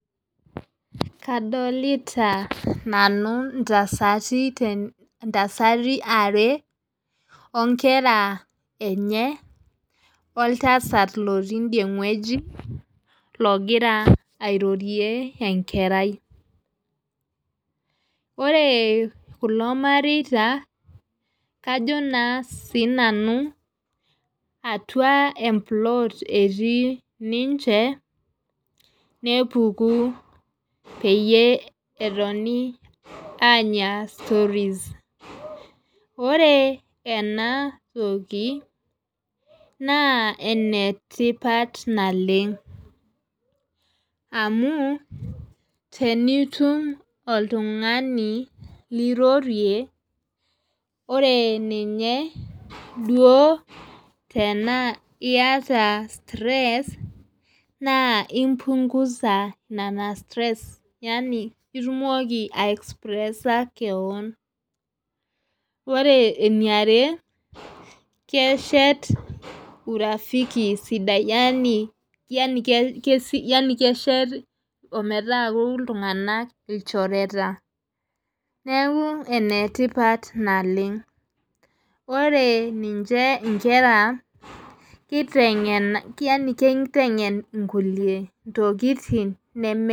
Kadolita nanu ntasati are, inkera enye, oltasat lotii ideie wueji, ogira airorie, enkerai. ore kulo mareita. kajo naa sii nanu atua e plot etii ninche, nepuku peyie etoni aanya stories .ore ena toki naa ene tipat naleng. amu tenitum oltungani lirorie. ore ninye duoo tenaa iyata stress naa impugusa nena stress yaani itumoki ai express kewon. ore eniare keshet urafiki sidai yaani keshet ometaaku iltunganak ilchoreta. neeku ene tipat naleng. ore ninche nkera kitengen nkulie ntokitin neme.